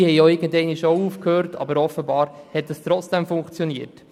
Diese haben auch irgendwann aufgehört, und es hat anscheinend trotzdem funktioniert.